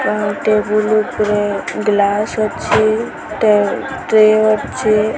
Wow table ଉପରେ glass ଅଛି ଟେ ଟ୍ରେ ଅଛି।